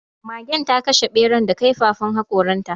Magen ta kashe ɓeran da kaifafan haƙoran ta